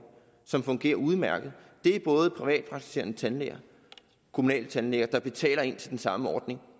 som fungerer udmærket det er både privatpraktiserende tandlæger og kommunale tandlæger der betaler ind til den samme ordning